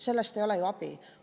Sellest ei ole ju abi.